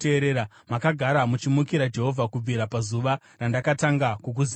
Makagara muchimukira Jehovha kubvira pazuva randakatanga kukuzivai.